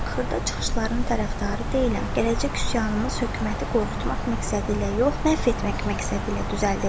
Xırda çıxışların tərəfdarı deyiləm, gələcək üsyanımız hökuməti qorxutmaq məqsədi ilə yox, məhv etmək məqsədi ilə düzəldilməlidir.